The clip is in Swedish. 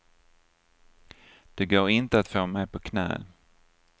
Det går inte att få mig på knä.